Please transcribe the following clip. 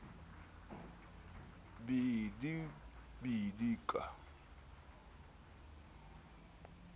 bidibidika a be a yo